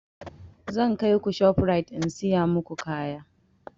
Zan kaiku shof rite in siya maku kaya